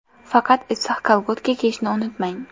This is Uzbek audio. Faqat issiq kolgotka kiyishni unutmang.